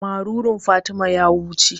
Marurun Fatima ya wuce.